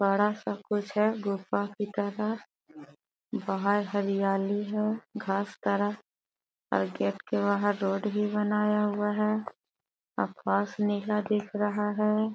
बड़ा सा है गुफा की तरह बाहर हरियाली है घास का राह गेट के बाहर रोड भी बनाया हुआ है आकाश नीला दिख रहा है।